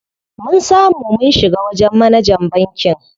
Mun samu mun shiga wajen manajan bankin.